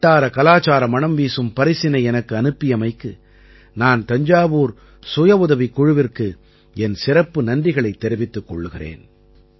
வட்டார கலாச்சார மணம் வீசும் பரிசினை எனக்கு அனுப்பியமைக்கு நான் தஞ்சாவூர் சுயஉதவிக் குழுவிற்கு என் சிறப்பு நன்றிகளைத் தெரிவித்துக் கொள்கிறேன்